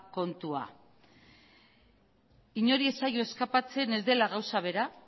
kontua inori ez zaio eskapatzen ez dela gauza bera